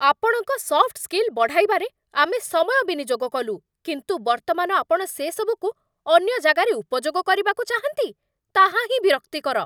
ଆପଣଙ୍କ soft skill ବଢ଼ାଇବାରେ ଆମେ ସମୟ ବିନିଯୋଗ କଲୁ, କିନ୍ତୁ ବର୍ତ୍ତମାନ ଆପଣ ସେସବୁକୁ ଅନ୍ୟ ଜାଗାରେ ଉପଯୋଗ କରିବାକୁ ଚାହାଁନ୍ତି? ତାହା ହିଁ ବିରକ୍ତିକର।